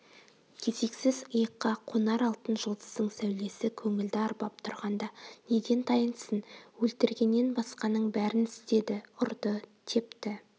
кезексіз иыққа қонар алтын жұлдыздың сәулесі көңілді арбап тұрғанда неден тайынсын өлтіргеннен басқаның бәрін істеді ұрды-тепті